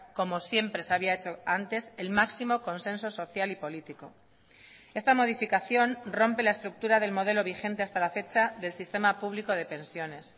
como siempre se había hecho antes el máximo consenso social y político esta modificación rompe la estructura del modelo vigente hasta la fecha del sistema público de pensiones